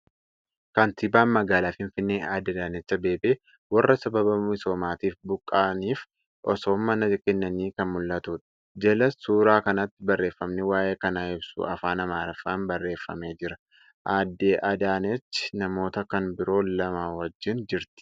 Kantiibaan Magaalaa Finfinnee adde Addaanachi Abeebee warra sababa misoomaatiif buqqaniif osoo mana keennanii kan mul'atuudha. Jala suura kanaatti barreefami waa'ee kanaa ibsu afaan Amaariffaan barreefamee jira. Adde Adaanechi namoota kan biroo lama wajjin jirti.